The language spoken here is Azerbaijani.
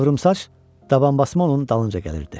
Qıvrımsaç dabanbasma onun dalınca gəlirdi.